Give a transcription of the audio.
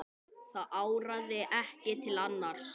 Það áraði ekki til annars.